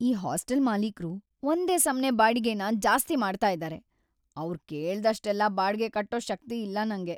ಈ ಹಾಸ್ಟೆಲ್ ಮಾಲೀಕ್ರು ಒಂದೇ ಸಮ್ನೇ ಬಾಡಿಗೆನ ಜಾಸ್ತಿ ಮಾಡ್ತಾ ಇದಾರೆ, ಅವ್ರ್‌ ಕೇಳ್ದಷ್ಟೆಲ್ಲ ಬಾಡ್ಗೆ ಕಟ್ಟೋ ಶಕ್ತಿ ಇಲ್ಲ ನಂಗೆ.